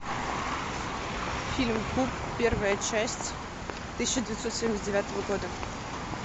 фильм куб первая часть тысяча девятьсот семьдесят девятого года